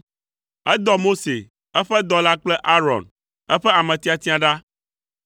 Edɔ Mose, eƒe dɔla kple Aron, eƒe ame tiatia ɖa.